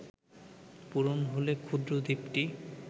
পূরণ হলে ক্ষুদ্র দ্বীপটি